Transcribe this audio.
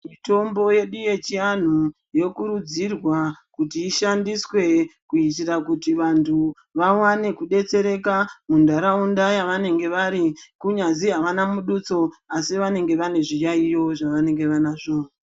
Mitombo yedu yechivanhu yokurudzirwa kuti ishandiswe kuitira kuti vandu vawane kudetsereka mundaraunda yavanenge vari kunyazi havana mututso asi vanenge vane zviyayiyo zvavanenge vanazvo.